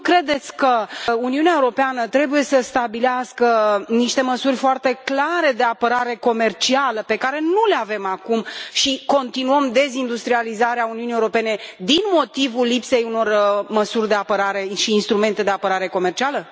Nu credeți că Uniunea Europeană trebuie să stabilească niște măsuri foarte clare de apărare comercială, pe care nu le avem acum și continuăm dezindustrializarea Uniunii Europene din motivul lipsei unor măsuri de apărare și instrumente de apărare comercială?